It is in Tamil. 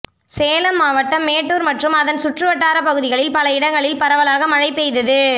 சேலம் மாவட்டம் மேட்டூர் மற்றும் அதன் சுற்றுவட்டார பகுதிகளில் பல இடங்களில் பரவலாக மழை பெய்தது